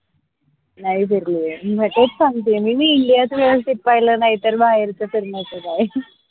नाई फिरलीये मी म तेच सांगतीये मी मी india च व्यवस्थित पाहिलं नाही तर बाहेरच फिरण्याचं काय